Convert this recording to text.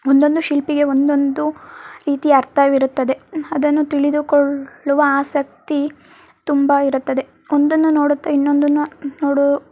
ಒಂದೊಂದು ಶಿಲ್ಪಿಗೆ ಒಂದೊಂದು ರೀತಿಯ ಅರ್ಥವಿರುತ್ತದೆ ಅದನ್ನು ತಿಳಿದುಕೊಳ್ಳುವ ಆಸಕ್ತಿ ತುಂಬಾ ಇರುತ್ತದೆ. ಒಂದನ್ನು ನೋಡುತ್ತಾ ಇನ್ನೊಂದನ್ನ ನೋಡುವ --